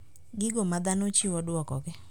Gigo ma dhano chiwo duokogi